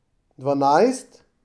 Dvanajst?